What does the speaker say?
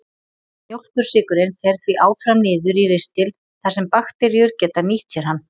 Mjólkursykurinn fer því áfram niður í ristil þar sem bakteríur geta nýtt sér hann.